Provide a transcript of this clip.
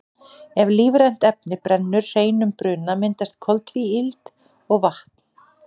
ef lífrænt efni brennur hreinum bruna myndast koltvíildi og vatn